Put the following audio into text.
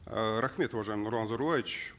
э рахмет уважаемый нурлан зайроллаевич